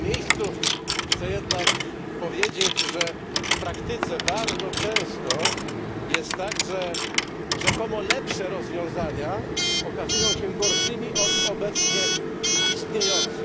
W tym miejscu chcę jednak powiedzieć, że w praktyce bardzo często jest tak, że rzekomo lepsze rozwiązania okazują się gorszymi od obecnie istniejących.